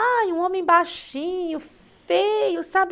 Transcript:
Ai, um homem baixinho, feio, sabe?